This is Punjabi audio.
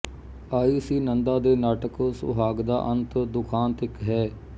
ਆਈ ਸੀ ਨੰਦਾ ਦੇ ਨਾਟਕ ਸੁਹਾਗ ਦਾ ਅੰਤ ਦੁਖਾਂਤਇਕ ਹੈ